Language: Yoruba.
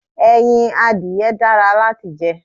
Ẹyin adìye dára láti jẹ.